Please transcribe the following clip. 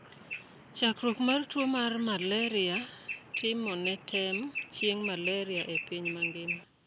chakruok mar tuwo mar Malaria' timone tem chieng' Malaria e piny mangima